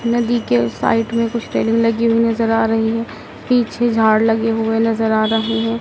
नदी के उस साइड में कुछ रेलिंग लगी हुई नजर आ रही है पीछे झाड़ लगे हुए नजर आ रहे हैं।